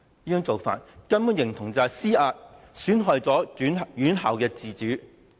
這種做法形同施壓，損害院校自主。